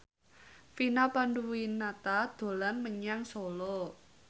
Vina Panduwinata dolan menyang Solo